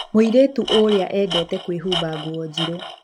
Mũirĩtu ũrĩa endete kwĩhumba nguo njirũ.